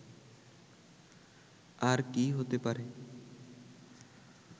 আর কি হতে পারে